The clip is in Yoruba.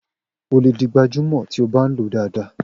O lè di gbajúmò tí ó bá ń lo dáadáa.